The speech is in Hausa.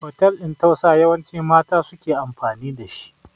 hotel ɗin tausa yawanci mata ne suke amfani da shi